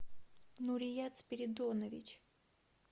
нурият спиридонович